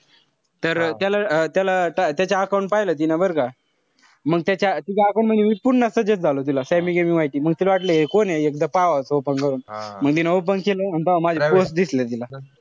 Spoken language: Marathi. तर त्याला अं त्याला त्याच्या account पाहिलं तिनं बरं का. मंग त्याच्या तीच account म्हणजे पुन्हा suggest झालो तिला. sammy gimmy vigour म तिला वाटलं हे कोण ए. एकदा पाहावा open करून. म तिनं open केलं. अन तव्हा माझे post दिसले तिला.